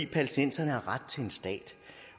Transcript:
palæstinenser